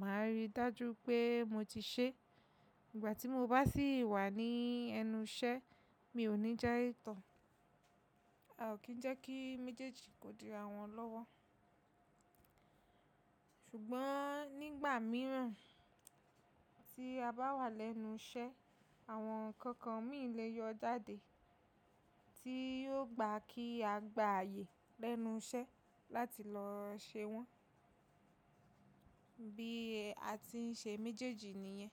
màá rí i dájú pé mo ti ṣe. Ìgbà tí mo bá sì wà ní ẹnu iṣẹ́, mi ò ní jẹ́ ìtàn. A ò kí ń jẹ́ kí méjèèjì kó dúró àwọn lọ́wọ́. Ṣùgbọ́n nígbà mìíràn tí a bá wà lẹ́nu iṣẹ́, àwọn ǹkan kan míì lè yọ jáde tí yóò gba kí a gbààyè lẹ́nu iṣẹ́ láti lọ ṣe wọ́n, bí a ti ń ṣe méjèèjì nìyẹn.